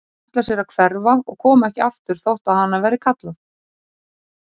Hún ætlar sér að hverfa og koma ekki aftur þótt á hana verði kallað.